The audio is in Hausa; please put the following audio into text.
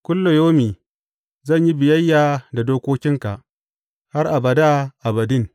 Kullayaumi zan yi biyayya da dokokinka, har abada abadin.